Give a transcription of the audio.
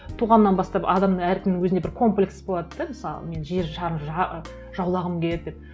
туғаннан бастап адамның әркімнің өзіне бір комплекс болады да мысалы мен жер шарын жаулағым келеді деп